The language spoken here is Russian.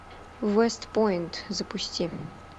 вест пойнт запусти